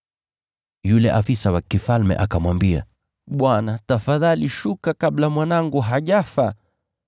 Yule afisa wa mfalme akamwambia, “Bwana, tafadhali shuka kabla mwanangu hajafa.”